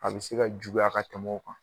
A bɛ se ka juguya ka tɛmɛ o kan